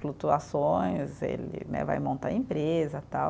flutuações, ele né, vai montar empresa, tal.